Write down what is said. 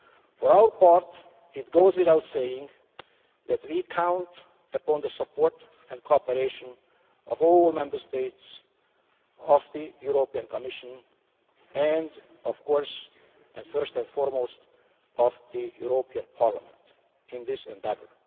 For our part, it goes without saying that we count upon the support and cooperation of all Member States, of the European Commission and, of course, first and foremost, of the European Parliament, in this endeavour.